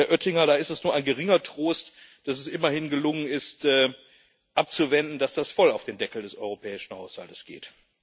Und, Herr Oettinger, da ist es nur ein geringer Trost, dass es immerhin gelungen ist abzuwenden, dass das voll auf den Deckel des europäischen Haushaltes geht.